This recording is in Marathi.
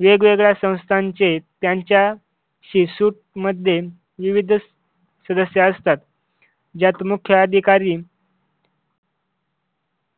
वेगवेगळ्या संस्थांचे त्यांच्या शी सूट मध्ये विविध सदस्य असतात. ज्यात मुख्याधिकारी